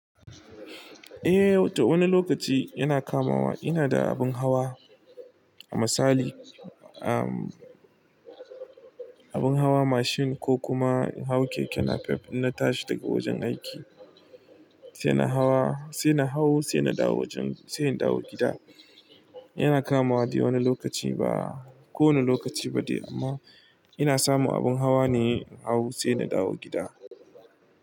Ahh to wani lokaci yana kamawa ina da abun hawa, misali amhhh abin hawa mashin ko kuma in hau keke napep in na tashi daga wajen aiki, sai na hau sai na dawo gida. Yana kamawa dai wani lokaci ba kowane lokaci ba de amma ina samu abin hawa ne in hau sai na dawo gida.